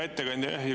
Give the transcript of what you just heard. Hea ettekandja!